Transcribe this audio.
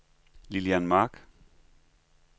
Lilian Mark